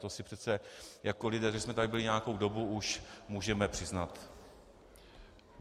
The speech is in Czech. To si přece jako lidé, kteří jsme tady byli nějakou dobu, už můžeme přiznat.